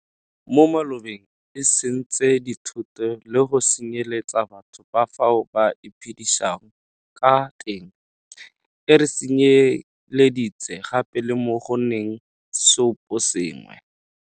Mo malobeng e sentse dithoto le go senye letsa batho ka fao ba iphe disang ka teng, e re senye leditse gape le mo go nneng seoposengwe.